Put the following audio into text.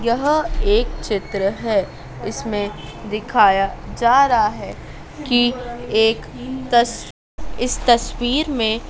यह एक चित्र है इसमें दिखाया जा रहा है कि एक तस इस तस्वीर में--